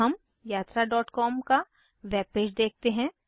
अब हम yatraकॉम का वेब पेज देखते हैं